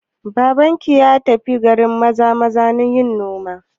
Abokinka ya tafi garin Maza-maza yin noma?